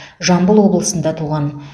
жамбыл облысында туған